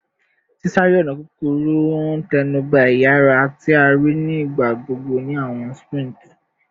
Sisare-ọna kukuru n tẹnuba iyara, ti a rii ni igbagbogbo ni awọn sprints